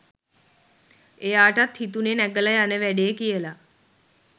එයාටත් හිතුනෙ නැඟලා යන වැඩේ කියලා.